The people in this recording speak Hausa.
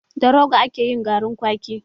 Da roga ake yin garin kwaki